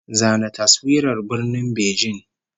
Zana taswirar Birnin Beijing!